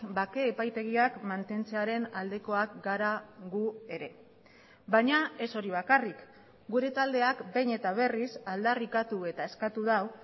bake epaitegiak mantentzearen aldekoak gara gu ere baina ez hori bakarrik gure taldeak behin eta berriz aldarrikatu eta eskatu du